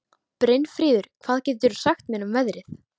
Brynfríður, hvað geturðu sagt mér um veðrið?